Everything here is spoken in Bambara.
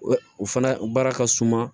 O fana baara ka suma